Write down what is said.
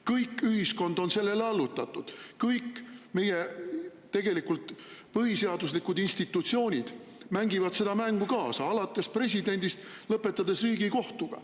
Kogu ühiskond on sellele allutatud, kõik meie põhiseaduslikud institutsioonid mängivad seda mängu kaasa, alates presidendist ja lõpetades Riigikohtuga.